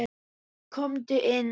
Komdu inn.